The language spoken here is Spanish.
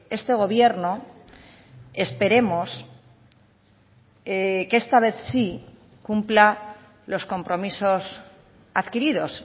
este gobierno esperemos que esta vez sí cumpla los compromisos adquiridos